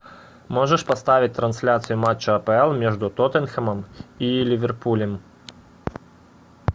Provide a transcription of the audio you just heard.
можешь поставить трансляцию матча апл между тоттенхэмом и ливерпулем